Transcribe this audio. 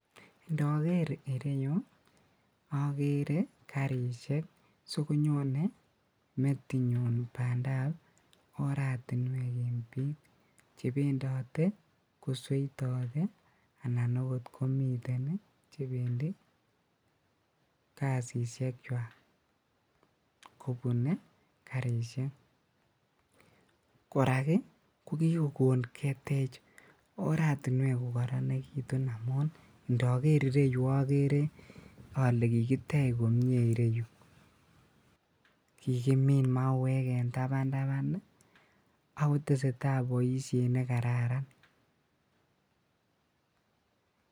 Ndoker ireyuu okeree karishek, soo konyone metinyun bandab oratinwek en biik chebendote kesoitote anan akot komiten chebendi kasishekwak kobune karishek, korak ko kikokon ketech oratinwek kokoronekitun amun indoker ireyu okere olee kikitech komie ireyuu, kikimin mauwek en tabantaban ak koteseta boishet nekararan.